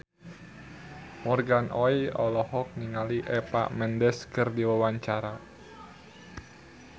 Morgan Oey olohok ningali Eva Mendes keur diwawancara